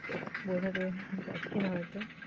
বোঝাতে পারছিনা হয়তো।